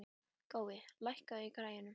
Gói, lækkaðu í græjunum.